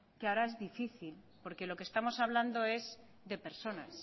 que ahora es difícil porque lo que estamos hablando es de personas